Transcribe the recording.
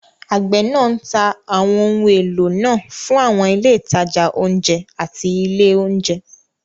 Àgbẹ̀ náà ń ta àwọn ohun èlò náà fún àwọn ilé ìtajà oúnjẹ àti ilé oúnjẹ.